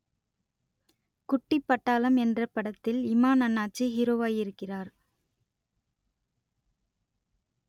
குட்டிப் பட்டாளம் என்ற படத்தில் இமான் அண்ணாச்சி ஹீரோவாயிருக்கிறார்